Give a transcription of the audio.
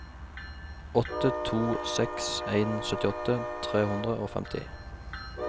åtte to seks en syttiåtte tre hundre og femti